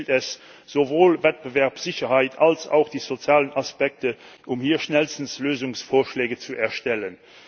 Hier gilt es, sowohl Wettbewerbssicherheit als auch die sozialen Aspekte zu berücksichtigen, um hier schnellstens Lösungsvorschläge zu erstellen.